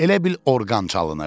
Elə bil orqan çalınırdı.